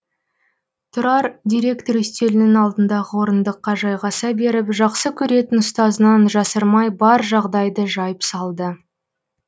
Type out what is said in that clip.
тұрар директор үстелінің алдындағы орындыққа жайғаса беріп жақсы көретін ұстазынан жасырмай бар жағдайды жайып салды